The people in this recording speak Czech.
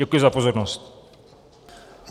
Děkuji za pozornost.